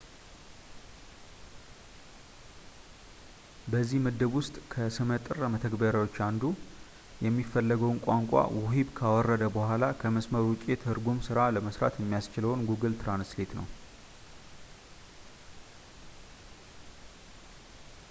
በዚህ ምድብ ውስጥ ከስመጥር መተግበሪያች መካከል አንዱ የሚፈለገውን ቋንቋ ውሂብ ካወረደ በኋላ ከመስመር ውጪ የትርጉም ስራ ለመስራት የሚያስችለው ጉግል ትራንስሌት ነው